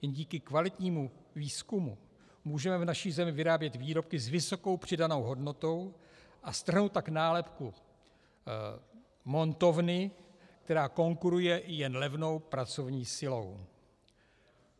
Jen díky kvalitnímu výzkumu můžeme v naší zemi vyrábět výrobky s vysokou přidanou hodnotou a strhnout tak nálepku montovny, která konkuruje i jen levnou pracovní silou.